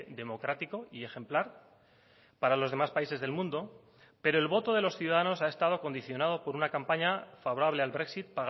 democrático y ejemplar para los demás países del mundo pero el voto de los ciudadanos ha estado condicionado por una campaña favorable al brexit